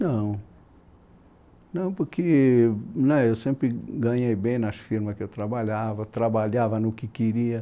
Nãoz não, porque eu sempre ganhei bem nas firmas que eu trabalhava, trabalhava no que queria.